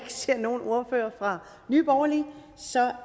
ser nogen ordfører fra nye borgerlige